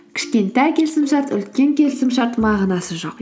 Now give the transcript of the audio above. кішкентай келісімшарт үлкен келісімшарт мағынасы жоқ